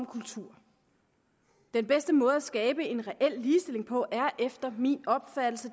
kultur den bedste måde at skabe en reel ligestilling på er efter min opfattelse